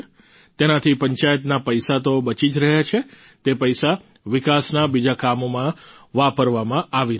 તેનાથી પંચાયતના પૈસા તો બચી જ રહ્યા છે તે પૈસા વિકાસના બીજા કામોમાં વાપરવામાં આવી રહ્યા છે